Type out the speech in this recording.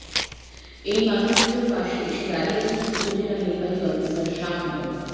এই মানুষগুলোর পাশে এসে দাঁড়িয়েছেন উপজেলা নির্বাহী অফিসার শাহ মো